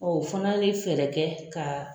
Ɔ fana ye fɛɛrɛ kɛ ka